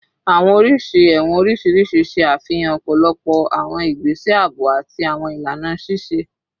Awọn oriṣi ẹwọn oriṣiriṣi ṣe afihan ọpọlọpọ awọn igbese aabo ati awọn ilana ṣiṣe